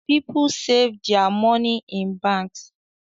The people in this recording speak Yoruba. People sav their money in banks